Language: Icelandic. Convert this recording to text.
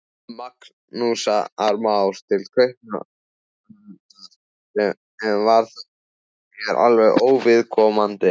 Magnúsar Más til Kaupmannahafnar, sem var þér alveg óviðkomandi.